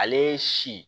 Ale si